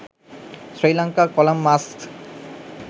sri lanka kolam masks